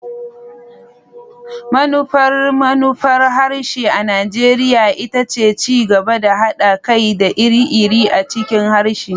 Manufar manufar harshe a Najeriya ita ce ci gaba da haɗa kai da iri-iri a cikin harshe.